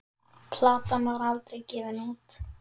Platan var aldrei gefin út.